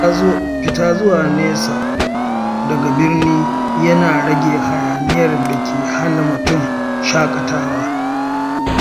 Fita zuwa nesa daga birni yana rage hayaniyar da ke hana mutum shaƙatawa.